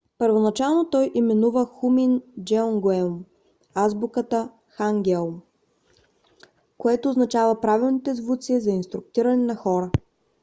първоначално той именува хунмин джеонгеум азбуката хангеул което означава правилните звуци за инструктиране на хора